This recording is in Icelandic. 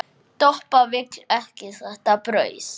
Doppa vill ekki þetta brauð.